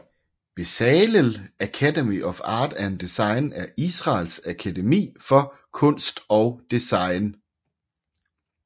Bezalel Academy of Art and Design er Israels akademi for kunst og design